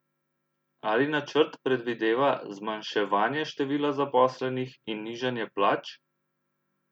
Ali načrt predvideva zmanjševanje števila zaposlenih in nižanje plač?